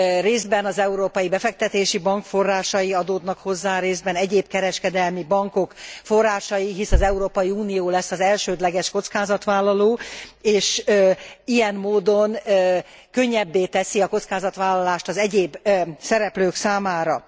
Részben az Európai Befektetési Bank forrásai adódnak hozzá, részben egyéb kereskedelmi bankok forrásai, hisz az Európai Unió lesz az elsődleges kockázatvállaló és ilyen módon könnyebbé teszi a kockázatvállalást az egyéb szereplők számára.